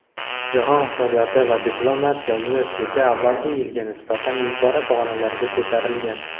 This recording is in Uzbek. Jahon iqtisodiyoti va diplomatiya universiteti avvalgi yilga nisbatan yuqori pog‘onalarga ko‘tarilgan.